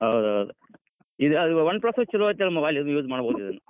ಹೌದೌದ್ ಇದ್ Oneplus ಛಲೋ ಐತಲ್ mobile use ಮಾಡಬೋದ್ ಇದನ್.